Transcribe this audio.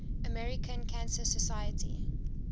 american cancer society